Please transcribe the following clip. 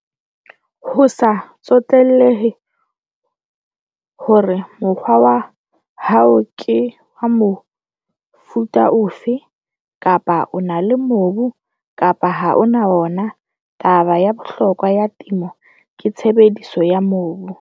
Ho sa tsotellehe hore mokgwa wa hao ke wa mofuta ofe, kapa 'o na le mobu kapa ha o na ona', taba ya bohlokwa ya temo ke tshebediso ya mobu.